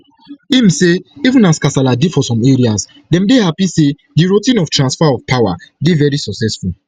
im say even as kasala dey for some areas dem dey happy say di routine of transfer of power dey veri successful